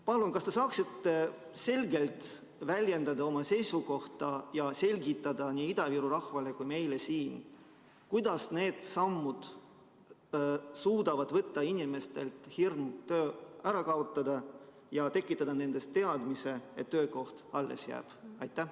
Palun, kas te saaksite selgelt väljendada oma seisukohta ja selgitada nii Ida-Viru rahvale kui ka meile siin, kuidas need sammud suudavad inimeste hirmud ära kaotada ja tekitada nendes teadmise, et töökoht alles jääb?